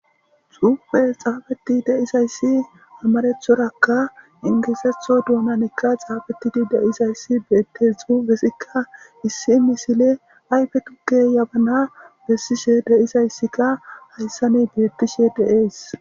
Xuufe xaabeti deisayssi amarethorakka ingeesetho duunanikka xaafetidi deisayssi beette xuufesikka issi misile ayfe tuke yabana bessishe deisayssikka hayssani beettishe deees.